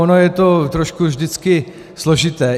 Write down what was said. Ono je to trošku vždycky složité.